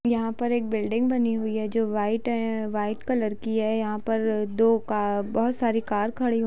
यहां पे एक बिल्डिंग जो व्हाइट व्हाइट कलर की है। यहां पर दो बहुत सारी कार खड़ी है।